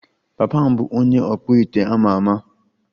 Papa m bụ onye ọkpụite a ma ama